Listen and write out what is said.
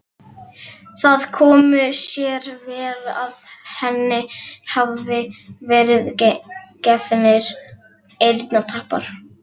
Það komi sér vel að henni hafi verið gefnir eyrnatappar.